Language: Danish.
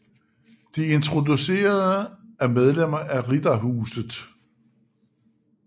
De introducerede er medlemmer af Riddarhuset